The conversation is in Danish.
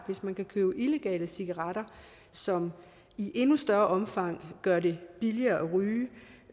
hvis man kan købe illegale cigaretter som i endnu større omfang gør det billigere